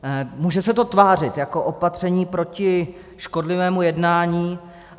Může se to tvářit jako opatření proti škodlivému jednání.